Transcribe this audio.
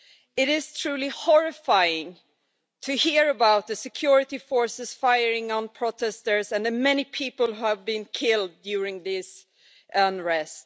It is truly horrifying to hear about the security forces firing on protesters, and many people have been killed during this unrest.